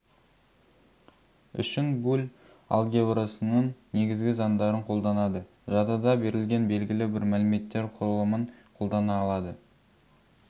үшін буль алгебрасының негізгі заңдарын қолданады жадыда берілген белгілі бір мәліметтер құрылымын қолдана алады